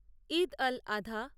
ঈদ এল আধা